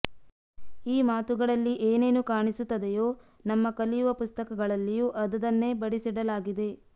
ಈ ಮಾತುಗಳಲ್ಲಿ ಏನೇನು ಕಾಣಿಸುತ್ತದೆಯೋ ನಮ್ಮ ಕಲಿಯುವ ಪುಸ್ತಕಗಳಲ್ಲಿಯೂ ಅದದನ್ನೇ ಬಡಿಸಿಡಲಾಗಿದೆ